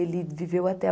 Ele viveu até